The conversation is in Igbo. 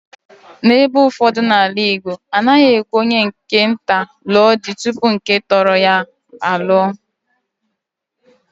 N'ebe ụfọdụ n'ala Igbo, a naghị ekwe onye nke nta lụo di tupu nke Totoro ya aluo.